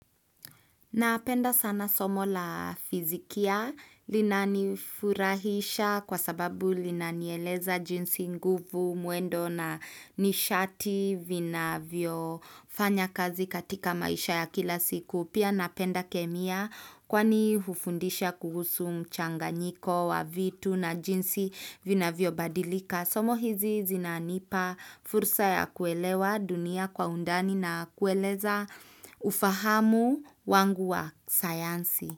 Napenda sana somo la fizikia linanifurahisha kwa sababu linanieleza jinsi nguvu mwendo na nishati vinavyofanya kazi katika maisha ya kila siku. Pia napenda kemia kwani hufundisha kuhusu mchanganyiko wa vitu na jinsi vinavyobadilika. Somo hizi zinanipa fursa ya kuelewa dunia kwa undani na kueleza ufahamu wangu wa sayansi.